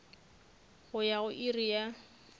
go ya go iri ya